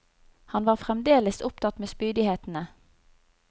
Han var fremdeles opptatt med spydighetene.